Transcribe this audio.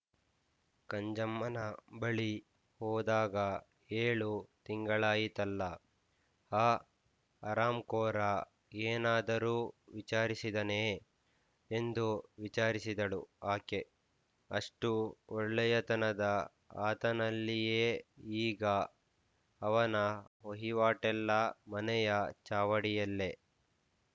ಕಂಜಮ್ಮನ ಬಳಿ ಹೋದಾಗ ಏಳು ತಿಂಗಳಾಯಿತಲ್ಲ ಆ ಹರಾಂಖೋರ ಏನಾದರೂ ವಿಚಾರಿಸಿದನೇ ಎಂದು ವಿಚಾರಿಸಿದಳು ಆಕೆ ಅಷ್ಟು ಒಳ್ಳೆಯತನದ ಆತನಲ್ಲಿಯೇ ಈಗ ಆತನ ವಹಿವಾಟೆಲ್ಲ ಮನೆಯ ಚಾವಡಿಯಲ್ಲೆ